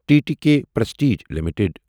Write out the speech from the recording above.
T T K Prestige limited